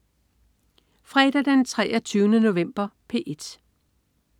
Fredag den 23. november - P1: